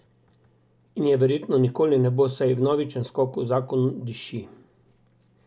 In je verjetno nikoli ne bo, saj ji vnovičen skok v zakon diši.